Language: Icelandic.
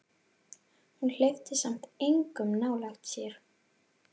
En hún hleypti samt engum nálægt sér.